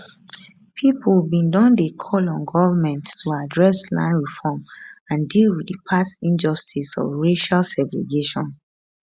pipo bin don dey call on goment to address land reform and deal wit di past injustice of racial segregation